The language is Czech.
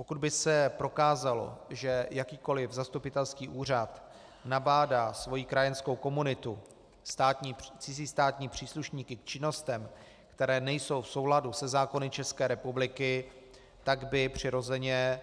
Pokud by se prokázalo, že jakýkoliv zastupitelský úřad nabádá svoji krajanskou komunitu, cizí státní příslušníky, k činnostem, které nejsou v souladu se zákony České republiky, tak by přirozeně